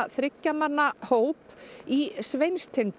þriggja manna hóp í Sveinstind